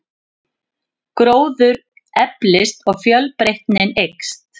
Gróður eflist og fjölbreytnin eykst.